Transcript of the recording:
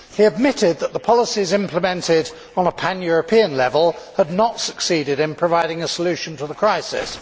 He admitted that the policies implemented on a pan European level had not succeeded in providing a solution to the crisis.